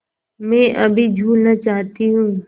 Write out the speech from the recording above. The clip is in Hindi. मैं अभी झूलना चाहती हूँ